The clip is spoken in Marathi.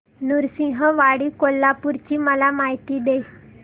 नृसिंहवाडी कोल्हापूर ची मला माहिती दे